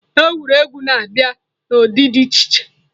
Egwuregwu na-abịa n'ụdị dị iche iche.